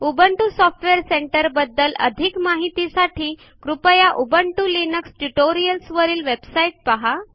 Ubuntu software center बद्दल अधिक माहित साठी कृपया उबुंटू लिनक्स ट्युटोरियल्स वरीलwebsite पहा